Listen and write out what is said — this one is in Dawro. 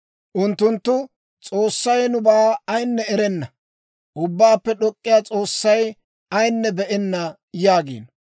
Unttunttu, «S'oossay nubaa ayinne erenna; Ubbaappe D'ok'k'iyaa S'oossay ayinne be'enna» yaagiino.